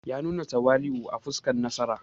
Ya nuna tawali’u a fuskar nasara.